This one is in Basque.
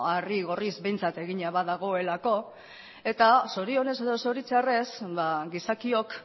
harri gorriz behintzat egina badagoelako eta zorionez edo zoritxarrez gizakiok